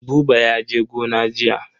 Buba ya je gona jiya.